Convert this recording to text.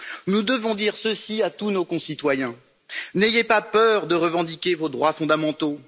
Nous devons dire ceci à tous nos concitoyens n'ayez pas peur de revendiquer vos droits fondamentaux!